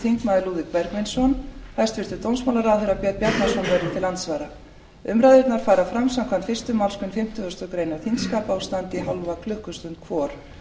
lúðvík bergvinsson hæstvirtur dómsmálaráðherra björn bjarnason verður til andsvara umræðurnar fara fram samkvæmt fyrstu málsgrein fimmtugustu grein þingskapa og standa í hálfa klukkustund hvor